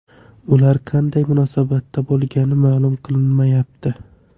Ular qanday munosabatda bo‘lgani ma’lum qilinmayapti.